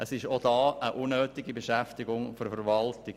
Auch hier handelt es sich um eine unnötige Beschäftigung der Verwaltung.